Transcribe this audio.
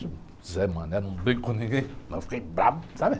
Zé Mané, não brinco com ninguém, mas fiquei bravo, sabe?